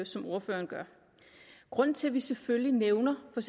som ordføreren gør grunden til at vi selvfølgelig nævner for